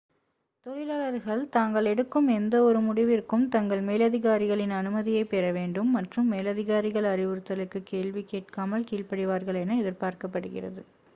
தொழிலாளர்கள் தாங்கள் எடுக்கும் எந்தவொரு முடிவிற்கும் தங்கள் மேலதிகாரிகளின் அனுமதியைப் பெற வேண்டும் மற்றும் மேலதிகாரிகள் அறிவுதலுக்கு கேள்விகேட்காமல் கீழ்படிவார்கள் என எதிர்ப்பார்க்கப்படுகிறது